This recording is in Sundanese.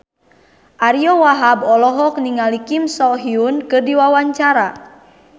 Ariyo Wahab olohok ningali Kim So Hyun keur diwawancara